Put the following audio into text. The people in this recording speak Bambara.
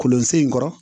Kolonsen in kɔrɔ